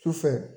Sufɛ